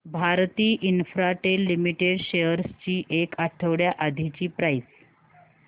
Bharti Infratel limited shares ची एक आठवड्या आधीची प्राइस